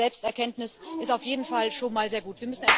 Diese Selbsterkenntnis ist auf jeden Fall schon mal sehr gut.